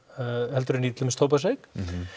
heldur en í til dæmis tóbaksreyk